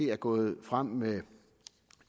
er gået frem med